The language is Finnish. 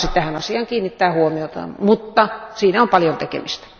Hän lupasi tähän asiaan kiinnittää huomiota, mutta siinä on paljon tekemistä.